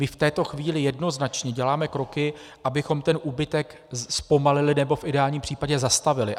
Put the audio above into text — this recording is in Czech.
My v této chvíli jednoznačně děláme kroky, abychom ten úbytek zpomalili, nebo v ideální případě zastavili.